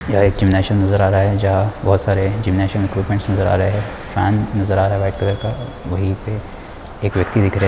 Nation नजर आ रहा है जहा बहुत सारे जीमनसियम इक्विपमेंट नजर आ रहे है फेन नजर आ रहा है वाइट कलर का वही पे एक व्यक्ति दिख रहे है।